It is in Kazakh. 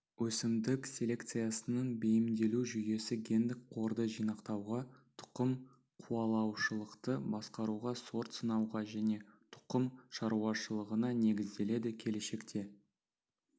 өсімдік селекциясының бейімделу жүйесі гендік қорды жинақтауға тұқым қуалаушылықты басқаруға сорт сынауға және тұқым шаруашылығына негізделеді келешекте